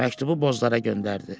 Məktubu Bozlara göndərdi.